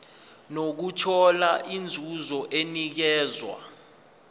nokuthola inzuzo enikezwa